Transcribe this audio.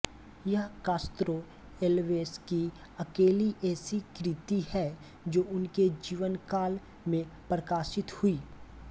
यह Castro Alves की अकेली ऐसी कृति है जो उनके जीवनकाल में प्रकाशित हुई